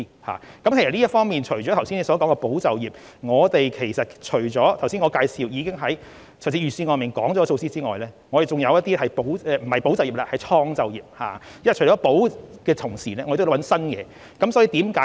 除了議員剛才說的保就業，以及我剛才介紹預算案提出的措施之外，還有一些措施是創造就業的，因為在"保"的同時，我們也要尋找一些新東西。